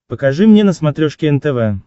покажи мне на смотрешке нтв